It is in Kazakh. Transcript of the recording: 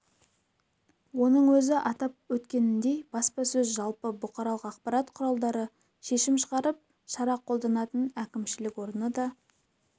оның өзі атап өткеніндей баспасөз жалпы бұқаралық ақпарат құралдары шешім шығарып шара қолданатын әкімшілік орны да